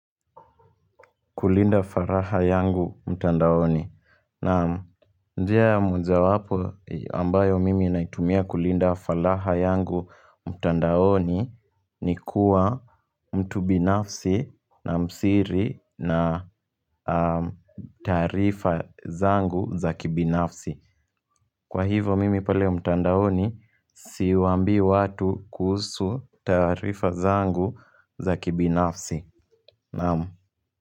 Kulinda faraha yangu mtandaoni naam njia ya moja wapo ambayo mimi naitumia kulinda faraha yangu mtandaoni ni kuwa mtu binafsi na msiri na taarifa zangu za kibinafsi Kwa hivyo mimi pale mtandaoni siwaambi watu kuhusu taarifa zangu za kibinafsi naamu.